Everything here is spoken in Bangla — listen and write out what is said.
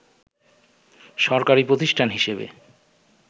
সহকারী প্রতিষ্ঠান হিসেবে